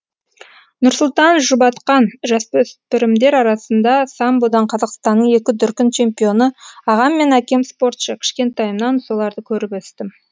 нұрсұлтан жұбатқан жасөспірімдер арасында самбодан қазақстанның екі дүркін чемпионы ағам мен әкем спортшы кішкентайымнан соларды көріп өстім